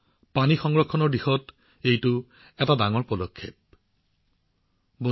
এইটো পানী সংৰক্ষণৰ দিশত এটা বিশাল পদক্ষেপ হিচাপে বিবেচিত হৈছে